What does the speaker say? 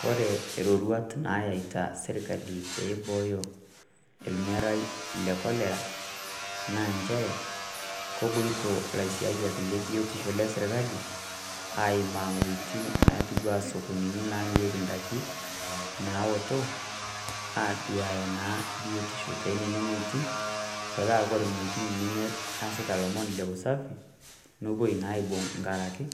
Kore iroruat nayaita sirkali peyie eibooyo ilmerai le Cholera, naa inchere kepuoito ilaisiayiak le biotisho le serkali aimaa inwuetin naitiu anaa isokonitin namirieki indaiki, naoto, aduaya naa biotisho tee nena wuetin, metaa Kore inwuetin nemeasita ilomon le usafi, nepuoi naa aibung' enkaraki